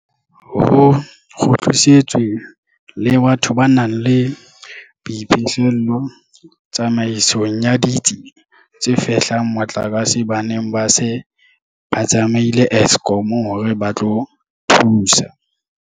Ho kgutlisitswe le batho ba nang le boiphihlelo tsamaisong ya ditsi tse fehlang motlakase ba neng ba se ba tsamaile Eskom hore ba tlo thusa.